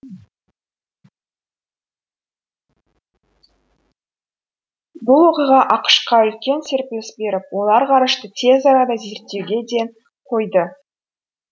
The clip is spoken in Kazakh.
бұл оқиға ақш қа үлкен серпіліс беріп олар ғарышты тез арада зерттеуге ден қойды